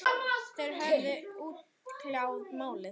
Þeir höfðu útkljáð málið.